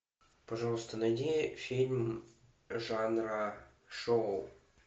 пожалуйста найди фильм жанра шоу